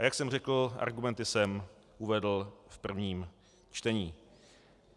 A jak jsem řekl, argumenty jsem uvedl v prvním čtení.